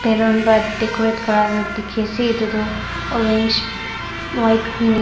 ballon bra decorate kurea tu dekhe ase etutu orange light green --